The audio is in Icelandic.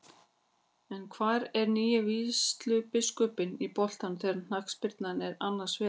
En hvar er nýi vígslubiskupinn í boltanum þegar knattspyrna er annars vegar?